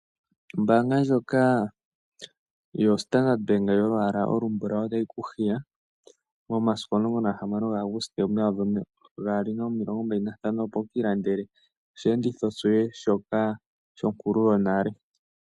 Ombaanga ndyoka yoStandard Bank yolwaala olumbulawu, otayi ku hiya momasiku omulongo nagahamano gaAuguste, omumvo omayovi gaali nomilongo mbali nantano, opo wukiilandele oshiyenditho shoye shonkulu yonale.